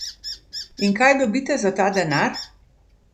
In kaj dobite za ta denar?